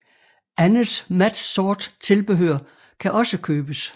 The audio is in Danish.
Andet mat sort tilbehør kan også købes